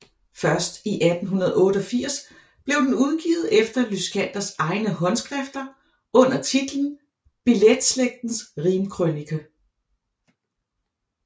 Først i 1888 blev den udgivet efter Lyschanders egne håndskrifter under titlen Billeslægtens Rimkrønike